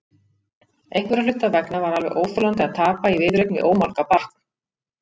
Einhverra hluta vegna var alveg óþolandi að tapa í viðureign við ómálga barn.